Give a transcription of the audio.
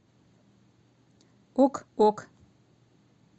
ок ок